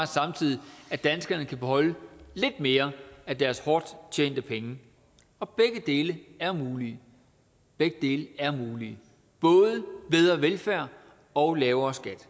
samtidig at danskerne kan beholde lidt mere af deres hårdt tjente penge og begge dele er mulige begge dele er mulige både bedre velfærd og lavere skat